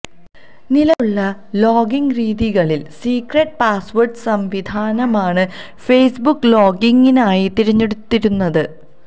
നിലവിലുള്ള ലോഗിങ് രീതികളിൽ secret password സംവിധാനമാണ് ഫേസ്ബുക്ക് ലോഗിങ്ങിനായി തിരഞ്ഞെടുത്തിരുന്നത്